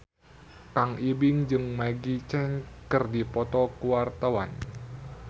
Kang Ibing jeung Maggie Cheung keur dipoto ku wartawan